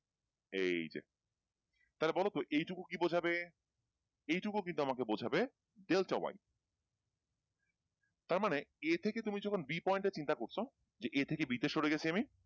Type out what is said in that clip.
এইযে তাহলে বলতো এইটুকু কি বুঝাবে? এইটুকু কিন্তু আমাকে বুঝাবে delta y তারমানে a থেকে তুমি যখন b point এ চিন্তা করছ যে a থেকে b তে সরে গেছি আমি,